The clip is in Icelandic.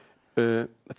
fyrsta